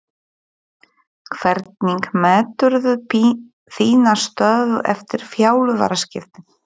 Hvernig meturðu þína stöðu eftir þjálfaraskiptin?